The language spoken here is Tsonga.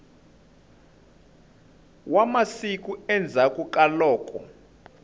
wa masiku endzhaku ka loko